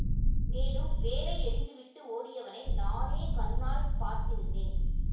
மேலும் வேலை எறிந்து விட்டு ஓடியவனை நானே கண்ணால் பார்த்திருந்தேன்